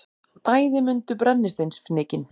Bæði mundu brennisteinsfnykinn.